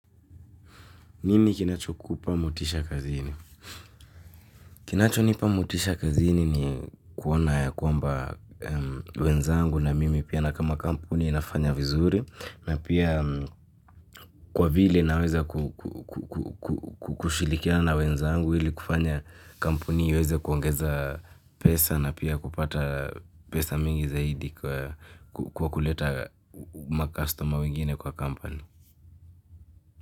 Nini kinachokupa motisha kazini? Kinachonipa motisha kazini ni kuona ya kwamba wenzangu na mimi pia na kama kampuni inafanya vizuri na pia kwa vile naeza ku kushirikiana na wenzangu ili kufanya kampuni iweze kuongeza pesa na pia kupata pesa mingi zaidi kwa kuleta makastoma wengine kwa company.